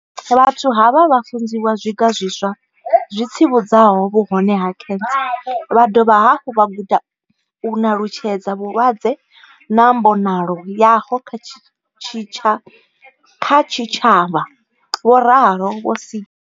Vhathu havha vha funzwa zwiga zwiswa zwi tsivhudzaho vhuhone ha khentsa vha dovha hafhu vha guda u nalutshedza vhulwadze na mbonalo yaho kha tshitshavha, vho ralo vho Seegers.